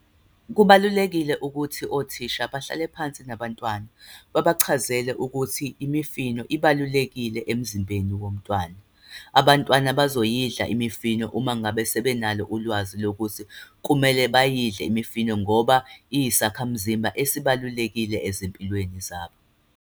Kubalulekile ukuthi othisha bahlale phansi nabantwana, babachazele ukuthi imifino ibalulekile emzimbeni womntwana. Abantwana bazoyidla imifino uma ngabe sebenalo ulwazi lokuthi kumele bayidle imifino, ngoba iyisakhamzimba esibalulekile ezimpilweni zabo.